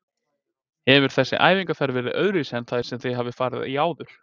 Hefur þessi æfingaferð verið öðruvísi en þær sem þið hafið farið í áður?